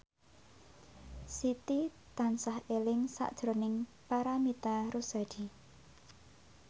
Siti tansah eling sakjroning Paramitha Rusady